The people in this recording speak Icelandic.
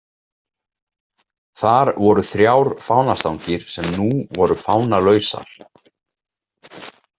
Þar voru þrjár fánastangir sem nú voru fánalausar.